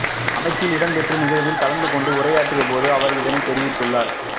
அமைச்சில் இடம்பெற்ற நிகழ்வில் கலந்துகொண்டு உரையாற்றிய போது அவர் இதனை தெரிவித்துள்ளார்